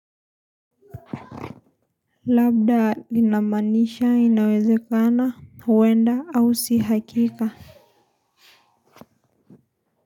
Labda inamaanisha inawezekana kwenda au sii hakika.